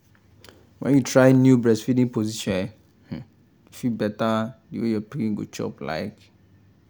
when you try new breastfeeding position e fit better the way your pikin go chop like